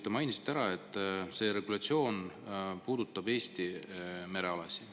Te mainisite, et see regulatsioon puudutab Eesti merealasid.